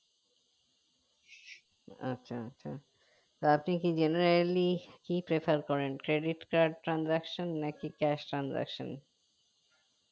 আচ্ছা আচ্ছা আপনি কি generally কি Prefer করেন credit card transaction নাকি cash transaction